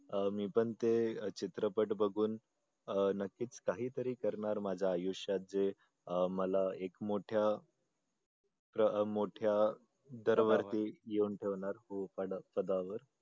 अह मी पण ते चित्रपट बघून अह नक्कीच काहीतरी करणार माझ्या आयुष्यात जे अह मला एक मोठ्या लहान-मोठ्या दरवर्षी येऊन ठेवणार मोठ्या पदावर